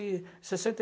e sessenta